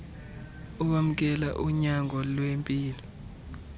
owamkela unyango lwempilo